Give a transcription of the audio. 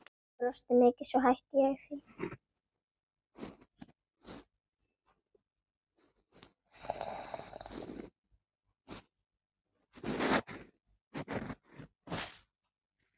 En svo hætti ég því.